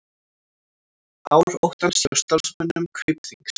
Ár óttans hjá starfsmönnum Kaupþings